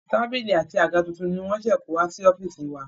Tábìlì àti àga tuntun ni wọ́n ṣe kó wá sí ọ́fíìsì wa.